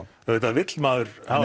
auðvitað vill maður hafa